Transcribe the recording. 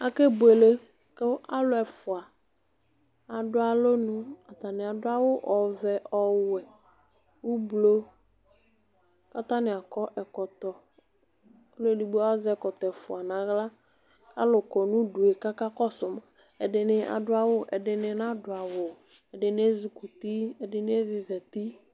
Ake buele kʋ alʋ ɛfʋa adʋ alɔnʋ atani adʋ awʋ ɔvɛ ɔwɛ ʋblɔ kʋ atani akɔ ɛkɔtɔ ɔlʋ edigbo azɛ ɛkɔtɔ ɛfʋa nʋ aɣla kʋ alʋ kɔnʋ ʋdʋe kʋ akakɔsʋ ma ɛdini adʋ awʋ ɛdini nadʋ awʋ ɛfini ezi kɔ ʋti ɛdini ezizati